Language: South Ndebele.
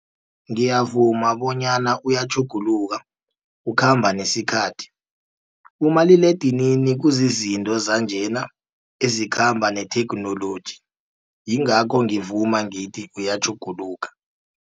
Ngiyavuma bonyana uyatjhuguluka ukhamba nesikhathi, umaliledinini kuzizinto zanjena ezikhamba netheknoloji. Yingakho ngivuma ngithi uyatjhuguluka.